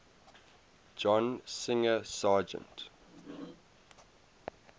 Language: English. john singer sargent